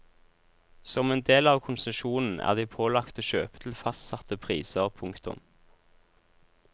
Som en del av konsesjonen er de pålagt å kjøpe til fastsatte priser. punktum